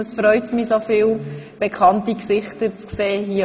Es freut mich, dort oben so viele bekannte Gesichter zu sehen.